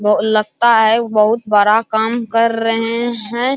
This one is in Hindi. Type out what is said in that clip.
वो लगता है बहुत बड़ा काम कर रहे है ।